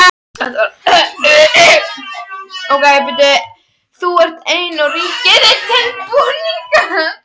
Þú ert einn og ríki þitt tilbúningur.